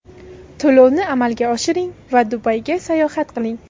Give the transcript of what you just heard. To‘lovni amalga oshiring va Dubayga sayohat qiling!.